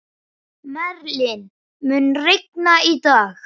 Merlin, mun rigna í dag?